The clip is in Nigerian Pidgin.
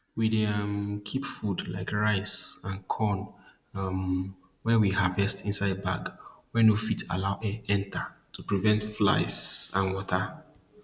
we dey um keep food like rice and corn um wey we harvest inside bag wey no fit allow air enter to prevent flies and water